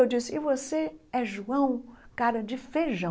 Eu disse, e você é João cara de feijão.